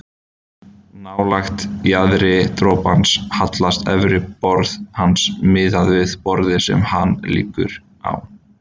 Nálægt jaðri dropans hallast efra borð hans miðað við borðið sem hann liggur á.